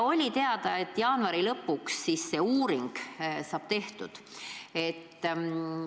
Oli teada, et jaanuari lõpuks see uuring saab tehtud.